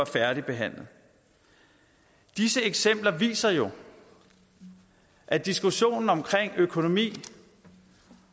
færdigbehandlet disse eksempler viser jo at diskussionen om økonomi